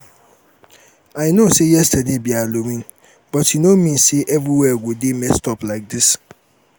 i no say yesterday be halloween but e no mean say everywhere go dey messed up like dis